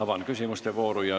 Avan küsimuste vooru.